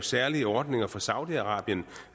særlige ordninger for saudi arabien